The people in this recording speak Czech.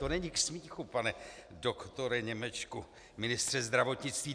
To není k smíchu pane doktore Němečku, ministře zdravotnictví!